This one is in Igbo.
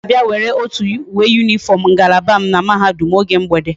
O ga abia were otu uwe uniform ngalaba m na mahadum a oge mgbede